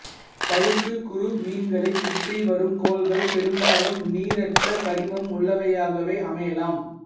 பழுப்புக் குறுமீன்களைச் சுற்றிவரும் கோள்கள் பெரும்பாலும் நீரற்ற கரிமம் உள்ளவையாகவே அமையலாம்